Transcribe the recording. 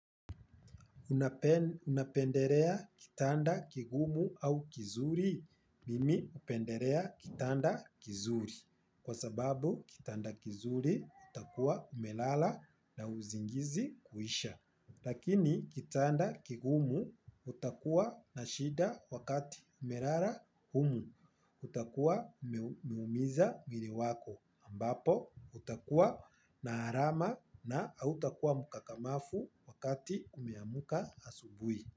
Unapenderea kitanda kigumu au kizuri mimi hupenderea kitanda kizuri kwa sababu kitanda kizuri utakua umelala na uzingizi kuisha. Lakini kitanda kigumu utakua na shida wakati umerara humu utakua umeumiza mwili wako ambapo utakua na harama na hautakua mkakamafu wakati umeamuka asubui.